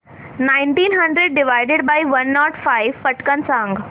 nineteen hundred divided by one naught five पटकन सांग